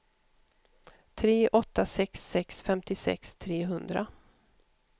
tre åtta sex sex femtiosex trehundra